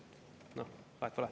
Nii et vahet pole.